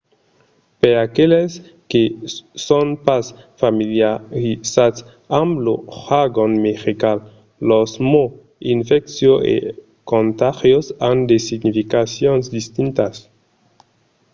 per aqueles que son pas familiarizats amb lo jargon medical los mots infecciós e contagiós an de significacions distintas